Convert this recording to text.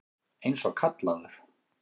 Eins og kallaður.